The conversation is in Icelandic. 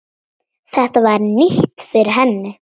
Þetta var nýtt fyrir henni.